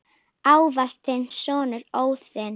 Ávallt þinn sonur, Óðinn.